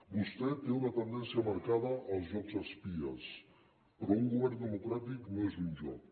vostè té una tendència marcada als jocs d’espies però un govern democràtic no és un joc